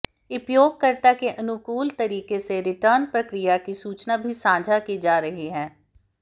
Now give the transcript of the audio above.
उपयोगकर्ता के अनुकूल तरीके से रिटर्न प्रक्रिया की सूचना भी साझा की जा रही है